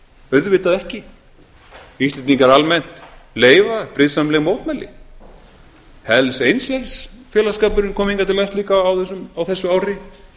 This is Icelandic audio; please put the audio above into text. auðvitað ekki íslendingar almennt leyfa friðsamleg mótmæli hells angels félagsskapurinn kom hingað til lands líka á þessu ári